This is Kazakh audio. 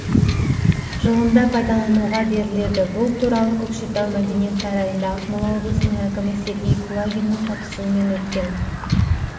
жылында пайдалануға беріледі бұл туралы көкшетау мәдениет сарайында ақмола облысының әкімі сергей кулагиннің қатысуымен өткен